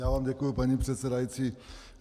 Já vám děkuji, paní předsedající.